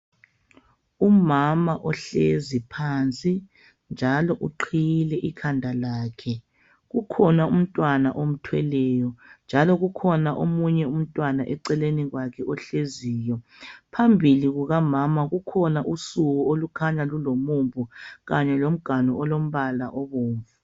Umama ohlezi phansi. Njalo uqhiyile ikhanda lakhe. Kukhona umntwana omthweleyo .Njalo kukhona omunye umntwana eceleni kwakhe ohleziyo . Phambili kuka mama kukhona usuku olukhanya lulomumbu kanye lomganu olombala obomvu .